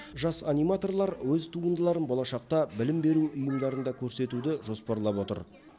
жас аниматорлар өз туындыларын болашақта білім беру ұйымдарында көрсетуді жоспарлап отыр